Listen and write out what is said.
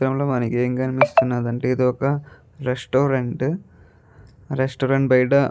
ఈ చిత్రంలో మనకి ఎం కనిపిస్తునది అంటే ఇది ఒక రెస్టారెంట్ రెస్టారెంట్ బయట --